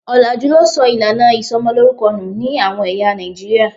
Òlàjú ló sọ ìlànà ìsomolórúkọ nù ní àwọn ẹ̀yà Nàìjíríà.